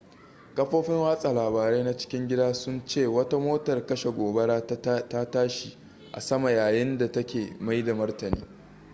kafofin watsa labarai na cikin gida sun ce wata motar kashe gobara ta tashi a sama yayin da take mai da martani